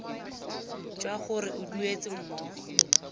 jwa gore o duetse mmogo